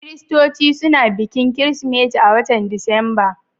Kiristoci suna bikin Kiristimeti a'watan Disamba.